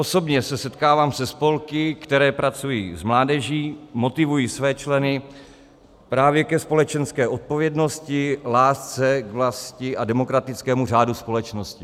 Osobně se setkávám se spolky, které pracují s mládeží, motivují své členy právě ke společenské odpovědnosti, lásce k vlasti a demokratickému řádu společnosti.